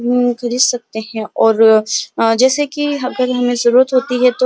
अमम थोड़े है और जैसे की अगर हमें जरूरत होती है तो --